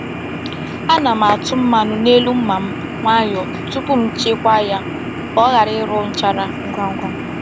Ana m atụ mmanụ n’elu mma m nwayọọ tupu m chekwaa ya ka ọ ghara iru nchara ngwa ngwa.